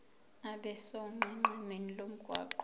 abe sonqenqemeni lomgwaqo